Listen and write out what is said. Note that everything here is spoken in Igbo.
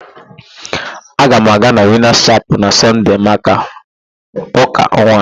Aga m aga na Winas Chapel na Sọnde maka ụ́ka nwa.